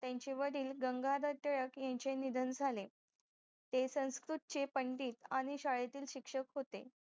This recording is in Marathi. त्त्यांचेवडील गंगाधार टिळक यांचे निधन झाले ते संस्कृत चे पंडित शाळेतील शिक्षक होते